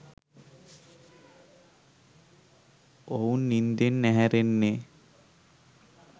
ඔවුන් නින්දෙන් ඇහැරෙන්නෙ